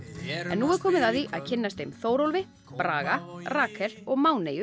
nú er komið að því að kynnast þeim Þórólfi Braga Rakel og